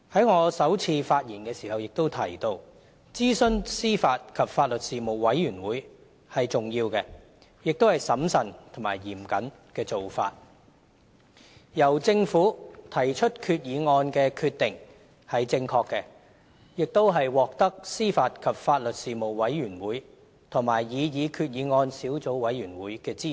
我在首次發言時也提到，諮詢司法及法律事務委員會是重要的，亦是審慎和嚴謹的做法，而由政府提出決議案的決定是正確的，亦獲得司法及法律事務委員會和擬議決議案小組委員會的支持。